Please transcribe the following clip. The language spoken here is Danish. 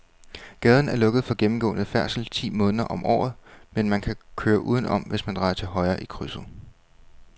Gaden er lukket for gennemgående færdsel ti måneder om året, men man kan køre udenom, hvis man drejer til højre i krydset.